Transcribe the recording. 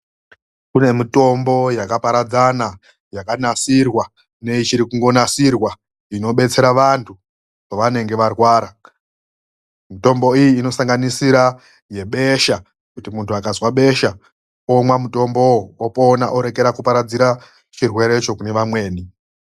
Kune mitombo yakaparadzana yakanasirwa neichiri kungonasirwa inobetsera vantu pavanenge varwara mitombo iyi inosanganisira yebesha kuti muntu akazwa besha omwa mutombowo opona orekera kuparadzira chirwerecho kune vamweni.